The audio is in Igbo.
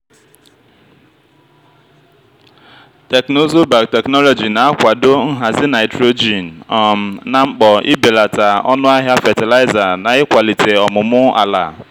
teknụzụ biotechnology na-akwado nhazi nitrogen um na mkpo ibelata ọnụ ahịa fatịlaịza na ịkwalite ọmụmụ ala.